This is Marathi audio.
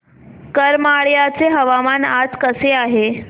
करमाळ्याचे हवामान आज कसे आहे